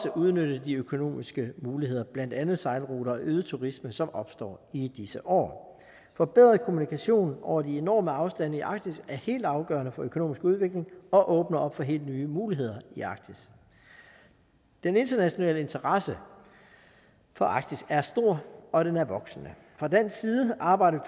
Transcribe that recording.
at udnytte de økonomiske muligheder blandt andet sejlruter og øget turisme som opstår i disse år en forbedret kommunikation over de enorme afstande i arktis er helt afgørende for økonomisk udvikling og åbner op for helt nye muligheder i arktis den internationale interesse for arktis er stor og den er voksende fra dansk side arbejder